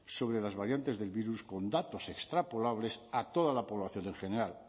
sobre las variantes del virus con datos extrapolables a toda la población en general